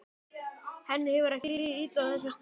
Henni hefur ekki liðið illa á þessum stað.